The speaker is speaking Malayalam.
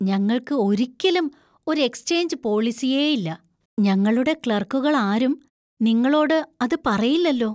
ഞങ്ങൾക്ക് ഒരിക്കലും ഒരു എക്‌സ്‌ചേഞ്ച് പോളിസിയേ ഇല്ല, ഞങ്ങളുടെ ക്ലർക്കുകളാരും നിങ്ങളോട് അത് പറയില്ലല്ലോ.